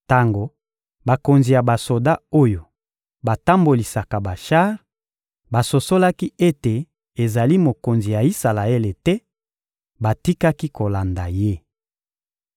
Tango bakonzi ya basoda, oyo batambolisaka bashar, basosolaki ete ezali mokonzi ya Isalaele te, batikaki kolanda ye.